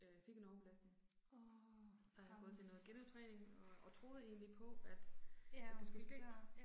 Øh fik en overbelastning. Så har jeg gået til noget genoptræning og og troede egentlig på at at det skulle ske